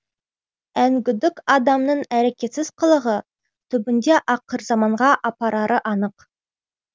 әңгүдік адамның әрекетсіз қылығы түбінде ақырзаманға апарары анық